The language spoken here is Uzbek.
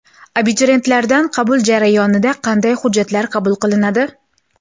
Abituriyentlardan qabul jarayonida qanday hujjatlar qabul qilinadi?